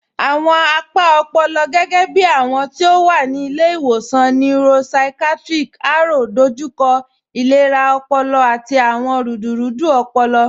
Awọn apa ọ̀pọ̀lọ̀, gẹgẹ̀bí awọn ti o wa ni Ilẹ̀-iwọsan Neuropsychiatric, Aro, dọjúkọ ilẹ̀rà ọ̀pọ̀lọ̀ àti awọn rúdúrúdú ọ̀pọ̀lọ̀